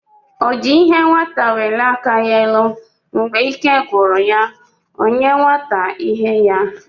O ji ihe nwata welie aka ya elu, Mgbe ike gwụrụ ya, ọ nye nwata ihe ya